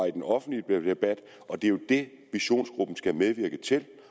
i den offentlige debat og det er jo det visionsgruppen skal medvirke til